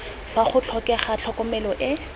fa go tlhokega tlhokomelo e